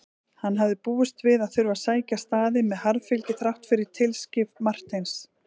Hann hafði búist við að þurfa að sækja staðinn með harðfylgi þrátt fyrir tilskrif Marteins.